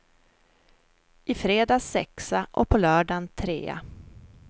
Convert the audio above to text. I fredags sexa och på lördagen trea.